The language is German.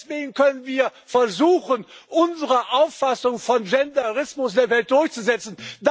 Deswegen können wir versuchen, unsere Auffassung von Genderismus in der Welt durchzusetzen.